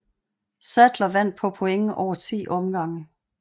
Saddler vandt på point over 10 omgange